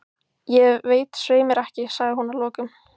Ég veit svei mér ekki, sagði hún að lokum.